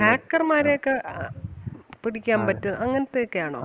hacker മാരെ ഒക്കെ അഹ് പിടിക്കാൻ പറ്റുവോ അങ്ങനത്തെ ഒക്കെ ആണോ?